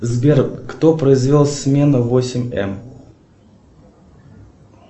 сбер кто произвел смену восемь эм